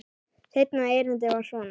Seinna erindið var svona